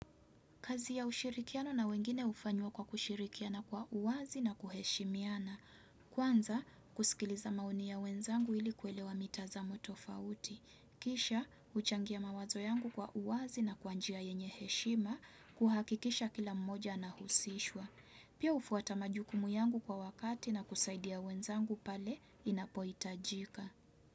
Kazi ya ushirikiano na wengine hufanywa kwa kushirikiana kwa uwazi na kuheshimiana. Kwanza, kusikiliza maoni ya wenzangu ili kuelewa mitazamo tofauti. Kisha, kuchangia mawazo yangu kwa uwazi na kwa njia yenye heshima kuhakikisha kila mmoja anahusishwa. Pia hufuata majukumu yangu kwa wakati na kusaidia wenzangu pale inapohitajika.